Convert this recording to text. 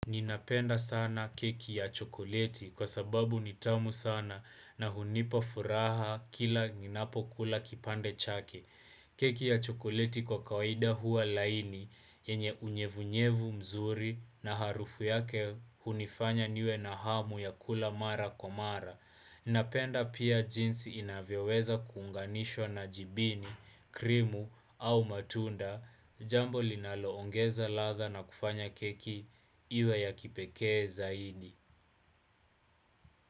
Ninapenda sana keki ya chokoleti kwa sababu ni tamu sana na hunipa furaha kila ninapokula kipande chake. Keki ya chokoleti kwa kawaida huwa laini yenye unyevunyevu mzuri na harufu yake hunifanya niwe na hamu ya kula mara kwa mara. Ninapenda pia jinsi inavyeweza kuunganishwa na jibini, krimu au matunda. Jambo linaloongeza ladha na kufanya keki iwe ya kipekee zaidi.